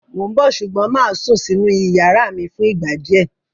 Mó ń bọ̀ ṣùgbọ́n mà á sún sínú ìyàrá mi fún ìgbà díẹ̀.